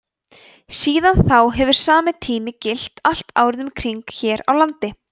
síðan þá hefur sami tími gilt allt árið um kring hér á landi